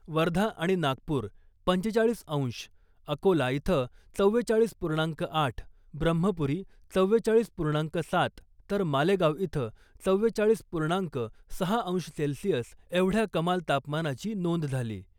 वर्धा आणि नागपुर पंचेचाळीस अंश , अकोला इथं चव्वेचाळीस पूर्णांक आठ , ब्रम्हपुरी चव्वेचाळीस पूर्णांक सात तर मालेगाव इथं चव्वेचाळीस पूर्णांक सहा अंश सेल्सिअल एवढ्या कमाल तापमानाची नोंद झाली .